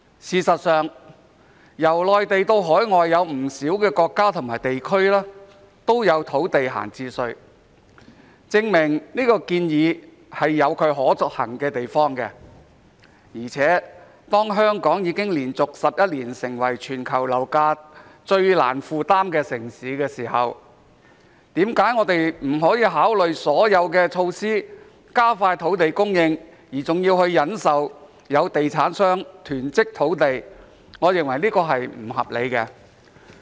事實上，由內地到海外有不少國家和地區都有土地閒置稅，證明這項建議有其可行的地方，而且當香港已經連續11年成為全球樓價最難負擔的城市時，我們何不考慮所有措施，以加快土地供應，而要忍受有地產商囤積土地，我認為這是不合理的。